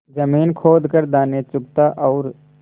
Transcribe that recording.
जमीन खोद कर दाने चुगता और